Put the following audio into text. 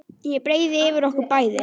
Ég breiði yfir okkur bæði.